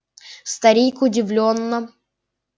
старик удивлённо